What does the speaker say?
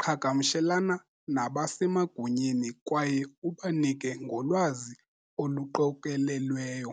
qhagamshelana nabasemagunyeni kwaye ubanike ngolwazi oluqokelelweyo.